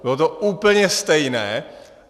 Bylo to úplně stejné.